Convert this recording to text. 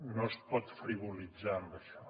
no es pot frivolitzar amb això